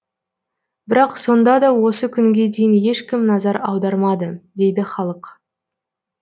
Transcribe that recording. бірақ сонда да осы күнге дейін ешкім назар аудармады дейді халық